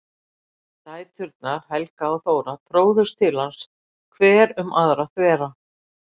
Dæturnar Helga og Þóra tróðust til hans hver um aðra þvera.